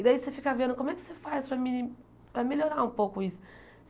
E daí você fica vendo como é que você faz para mi para melhorar um pouco isso.